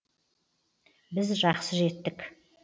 біз жақсы жеттік